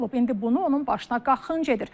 İndi bunu onun başına qaxınc edir.